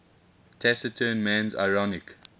taciturn man's ironic